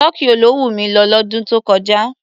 Tokyo ló wùn mi lọ lọ́dún tó kọjá.